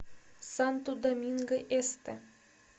санто доминго эсте